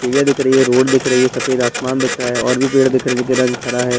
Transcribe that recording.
दिख रही है रोड दिख रहे हैं सफ़ेद आसमान दिख रहा है और भी पेड़ दिख रहे है जिसका रंग हरा है।